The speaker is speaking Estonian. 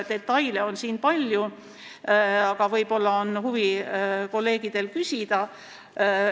Detaile on siin palju, aga võib-olla on kolleegidel huvi küsida.